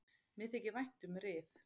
Mér þykir vænt um Rif.